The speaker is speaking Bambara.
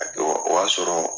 A ke wɔ, o y'a sɔrɔ